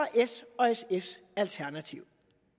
s og sfs alternativ